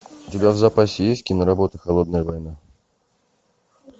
у тебя в запасе есть киноработа холодная война